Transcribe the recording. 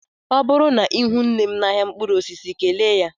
Ọ bụrụ na ihụ nnem n'ahịa mkpụrụ osisi kelee ya.